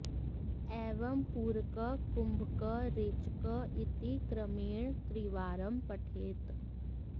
एवं पूरकः कुम्भकः रेचकः इति क्रमेण त्रिवारं पठेत्